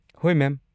ꯍꯣꯏ, ꯃꯦꯝ꯫